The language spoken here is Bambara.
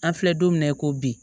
An filɛ don min na i ko bi